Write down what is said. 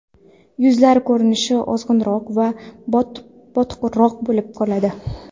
Yuzlar ko‘rinishi ozg‘inroq va botiqroq bo‘lib qoladi.